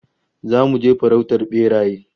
Zamu je farautar beraye